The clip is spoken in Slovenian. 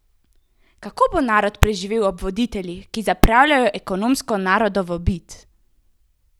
Kako bo narod preživel ob voditeljih, ki zapravljajo ekonomsko narodovo bit?